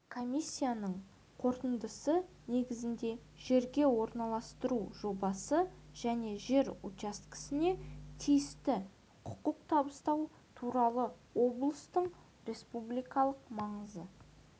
комиссияның қорытындысы негізінде жерге орналастыру жобасы және жер учаскесіне тиісті құқық табыстау туралы облыстың республикалық маңызы